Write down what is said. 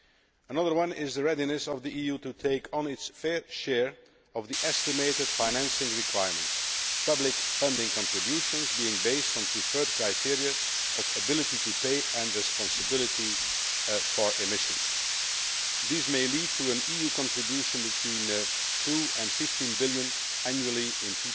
Another one is the readiness of the EU to take on its fair share of the estimated financing requirements, public funding contributions being based on preferred criteria of ability to pay and responsibility for emissions. This may lead to an EU contribution between EUR 2 billion and EUR 15 billion annually in